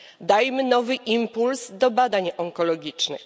Dajmy nowy impuls do badań onkologicznych.